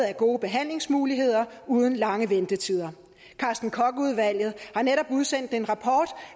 er gode behandlingsmuligheder uden lange ventetider carsten koch udvalget har netop udsendt en rapport